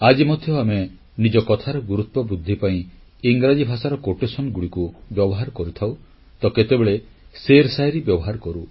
ଆଜି ମଧ୍ୟ ଆମେ ନିଜ କଥାର ଗୁରୁତ୍ୱ ବୃଦ୍ଧି ପାଇଁ ଇଂରାଜୀ ଭାଷାର ପ୍ରବାଦ ବା ଆପ୍ତବାକ୍ୟଗୁଡ଼ିକୁ ବ୍ୟବହାର କରିଥାଉ ତ କେତେବେଳେ ଶେର୍ଶାୟରୀ ବ୍ୟବହାର କରୁ